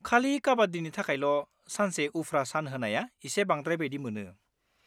खालि काबाड्डिनि थाखायल' सानसे उफ्रा सान होनाया एसे बांद्राय बायदि मोनो।